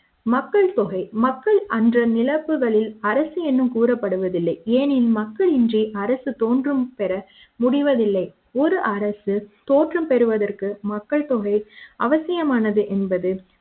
மக்கள் தொகை மக்கள் அன்ற நிலவுகளில் அரசு என்னும் கூறப்படுவதில்லை ஏனெனில் மக்கள் இன்றி அரசு தோன்றும் பெற முடிவதில்லை ஒரு அரசு தோற்றம் பெறுவதற்கு மக்கள் தொகை அவசியமானது என்பது